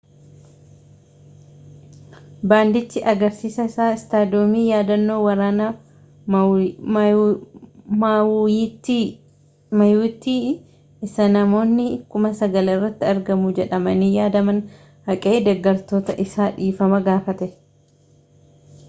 baandichi agarsiisa isaa istaadoomii yaadannoo waraana maawuuyiittii isa namoonni 9,000 irratti argamu jedhamanii yaadaman haqee deeggartoota isaa dhiifama gaafate